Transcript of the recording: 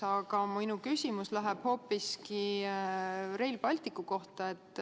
Aga minu küsimus tuleb hoopis Rail Balticu kohta.